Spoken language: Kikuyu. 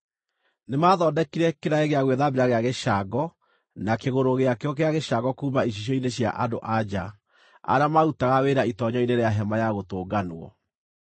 Nĩmathondekire kĩraĩ gĩa gwĩthambĩra gĩa gĩcango na kĩgũrũ gĩakĩo gĩa gĩcango kuuma icicio-inĩ cia andũ-a-nja arĩa maarutaga wĩra itoonyero-inĩ rĩa Hema-ya-Gũtũnganwo.